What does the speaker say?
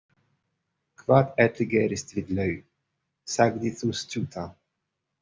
Hvað ætli gerist við laug, sagði sú stutta.